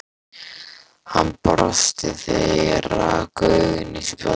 Hann brosti þegar ég rak augun í spjaldið.